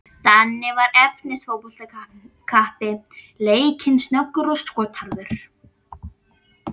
Danni var efnis fótboltakappi, leikinn, snöggur og skotharður.